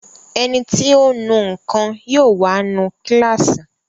Ẹniti ó nu nǹkan yóò wá nu kíláàsì